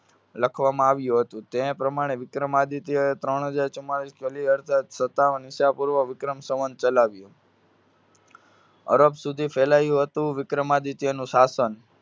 લખવામાં આવ્યું હતું. તે પ્રમાણે વિક્રમાદિત્યએ ત્રણ હજાર ચુમ્માલીસ અડસઠ સતાવન ઈસા પૂર્વ વિક્રમ સંવંત ચલાવ્યું. અરબ સુધી ફેલાયું હતું વિક્રમાદિત્યનું શાસન.